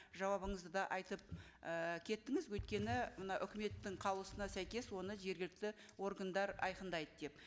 жауабыңызда да айтып ыыы кеттіңіз өйткені мына үкіметтің қаулысына сәйкес оны жергілікті органдар айқындайды деп